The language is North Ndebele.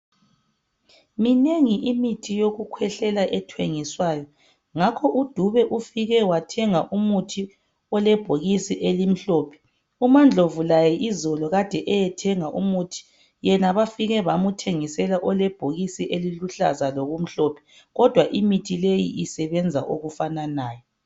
Minengi imithi yokukhwehlela ethengiswayo ngako uDube ufike wathenga umuthi olebhokisi elimhlophe umaNdlovu laye izolo kade eyethenga umuthi yena bafike bamuthengisela olebhokisi eliluhlaza lokumhlophe kodwa imithi leyi isebenza okufananayo.